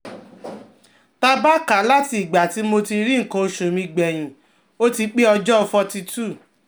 Ta ba ka lati igba ti mo ri ikan osu mi gbeyin, oti pe ojo 42